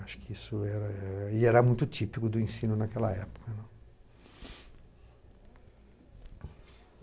Acho que isso era e era muito típico do ensino naquela época, né.